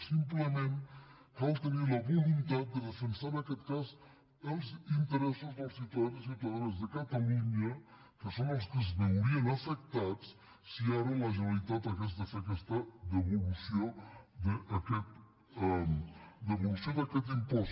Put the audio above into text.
simplement cal tenir la voluntat de defensar en aquest cas els interessos dels ciutadans i ciutadanes de catalunya que són els que es veurien afectats si ara la generalitat hagués de fer aquesta devolució d’aquest impost